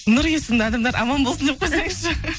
нұр есімді адамдар аман болсын деп қойсыңызшы